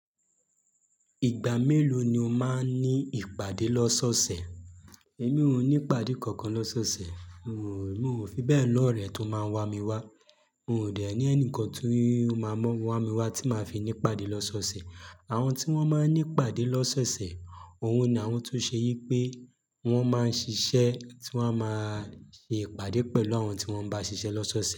Ìgbà mélòó ni o máa ń ní ìpàdé lọ́sọ́ọ̀ọ̀sẹ̀? Èmi ò ní ìpàdé kankan lọ́sọ́ọ̀ọ̀sẹ̀. N o, n o fi bẹ́ẹ̀ lọrẹ tó máa ń wa mi wá. N o ò dẹ̀ ní ẹni kan tí ó máa mọ́ wa mi wá tí máa fi ní ìpàdé lọ́sọ́ọ̀ọ̀sẹ̀. Àwọn tí wọ́n máa ń ní ìpàdé lọ́sọ́ọ̀ọ̀sẹ̀, òun ni àwọn tó ṣe yí pé wọ́n máa ń ṣiṣẹ́ tí wọ́n máa ṣe ìpàdé pẹ̀lú àwọn tí wọ́n bá ṣiṣẹ́ lọ́sọ́ọ̀ọ̀sẹ̀